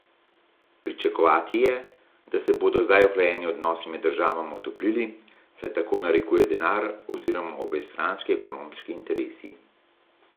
Pričakovati je, da se bodo zdaj ohlajeni odnosi med državama otoplili, saj tako narekuje denar oziroma obojestranski ekonomski interesi.